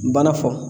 N banna fɔ